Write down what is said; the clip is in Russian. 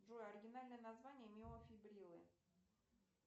джой оригинальное название миофибрилы